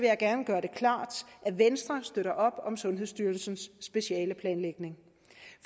jeg gerne gøre det klart at venstre bakker op om sundhedsstyrelsens specialeplanlægning